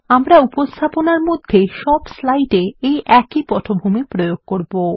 আমরা উপস্থাপনার মধ্যে সব স্লাইডে এই একই পটভূমি প্রয়োগ করব